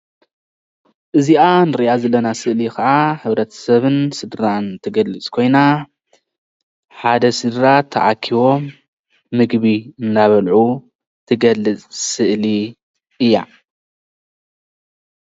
እዚአ እንሪአ ዘለና ስእሊ ከዓ ሕብርተ ስብን ስድራን እትገልፅ ኮይና ሓደ ስድራ ተአኪቦም ምግቢ እናበልዑ ትገልፅ ስእሊ እያ።